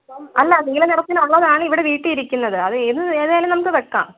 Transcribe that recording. അല്ല നീല നിറത്തിൽ ഉള്ളതാണ് ഇവിടെ വീട്ടിലിരിക്കുന്നത് അത് ഏതായാലും നമ്മക്ക് വെക്കാം